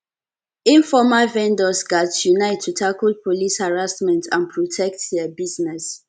informal vendors gats unite to tackle police harassment and protect dia business